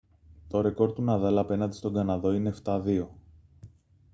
το ρεκόρ του ναδάλ απέναντι στον καναδό είναι 7-2